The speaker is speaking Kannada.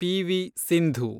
ಪಿ.ವಿ. ಸಿಂಧು